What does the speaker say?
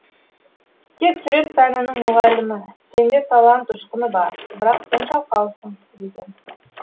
тек сурет пәнінің мұғалімі сенде талант ұшқыны бар бірақ сен жалқаусың деген